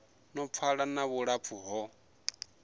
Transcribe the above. no pfala na vhulapfu ho